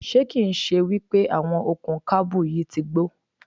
Ṣé kì ń ṣe wípé àwọn okùn kábù yìí ti gbó?